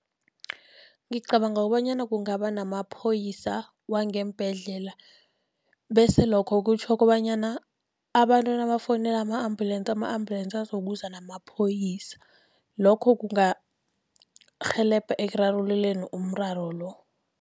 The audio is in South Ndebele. Ngicabanga kobanyana kungaba namaphoyisa wangeembhedlela., bese lokho kutjho kobanyana abantu nabafowunela ama-ambulensi, ama-ambulensi azokuza namaphoyisa. Lokho kungarhelebha ekurarululeni umraro lo.